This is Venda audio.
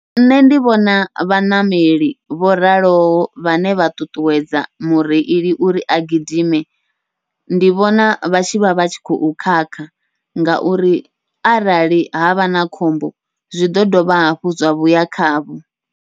Nṋe ndi vhona vhaṋameli vho raloho vhane vha ṱuṱuwedza mureili uri a gidime, ndi vhona vha tshivha vha tshi khou khakha ngauri arali havha na khombo zwi ḓo dovha hafhu zwa vhuya khavho.